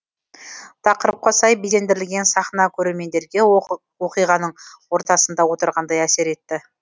тақырыпқа сай безендірілген сахна көрермендерге оқиғаның ортасында отырғандай әсер етті